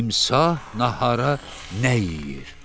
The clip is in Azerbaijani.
Timsah nahara nə yeyir?